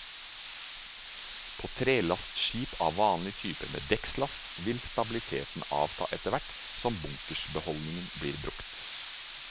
På trelastskip av vanlig type med dekkslast, vil stabiliteten avta etterhvert som bunkersbeholdningen blir brukt.